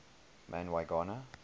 man y gana